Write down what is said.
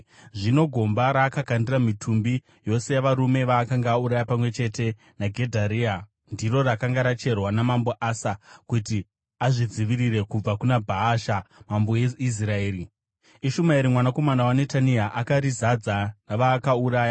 Zvino gomba raakakandira mitumbi yose yavarume vaakanga auraya pamwe chete naGedharia ndiro rakanga racherwa naMambo Asa kuti azvidzivirire kubva kuna Bhaasha mambo weIsraeri. Ishumaeri mwanakomana waNetania akarizadza navakaurayiwa.